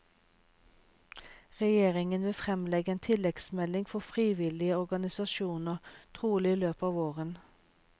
Regjeringen vil fremlegge en tilleggsmelding for frivillige organisasjoner, trolig i løpet av våren.